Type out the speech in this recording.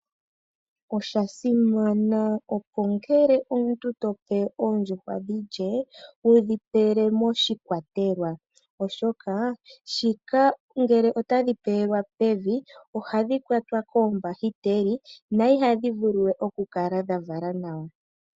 Oshasimana opo ngele omuntu tope oondjuhwa dhilye wudhi pele moshikwatelwa oshoka ngele otadhi pewelwa pevi ohadhi kwatwa koombahiteli dho ihadhi vulu we oku kala dhavala nawa.